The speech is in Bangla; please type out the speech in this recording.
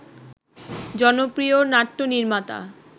জনপ্রিয় নাট্যনির্মাতা